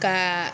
Ka